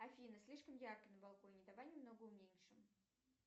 афина слишком ярко на балконе давай немного уменьшим